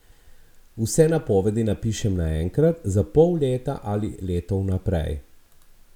Vse napovedi napišem naenkrat, za pol leta ali leto vnaprej.